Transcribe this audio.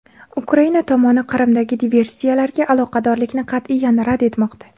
Ukraina tomoni Qrimdagi diversiyalarga aloqadorlikni qat’iyan rad etmoqda.